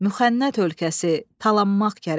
Müxənnət ölkəsi talanmaq gərək.